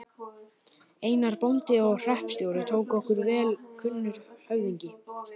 Einar, bóndi og hreppstjóri, tók okkur vel enda kunnur höfðingi.